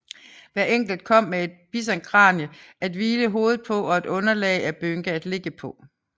Hver enkelt kom med et bisonkranie at hvile hovedet på og et underlag af bynke at ligge på